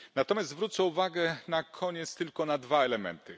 Natomiast zwrócę uwagę na koniec tylko na dwa elementy.